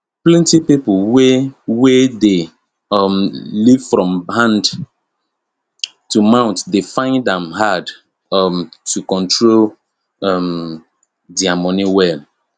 plenti pipo wey wey dey um live from hand to mouth dey find am hard um to control um dia moni well